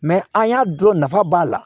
an y'a dɔn nafa b'a la